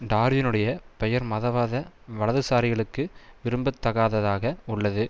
டார்வினுடைய பெயர் மதவாத வலதுசாரிகளுக்கு விரும்பத்தகாததாக உள்ளது